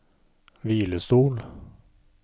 hvilestol